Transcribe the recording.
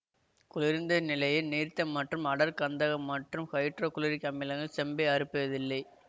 குளிர்ந்த நிலையில் நீர்த்த மற்றும் அடர் கந்தக மற்றும் ஹைட்ரோ குளோரிக் அமிலங்கள் செம்பை அறுப்பதில்லை